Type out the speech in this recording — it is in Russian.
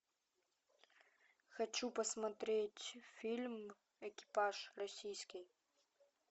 хочу посмотреть фильм экипаж российский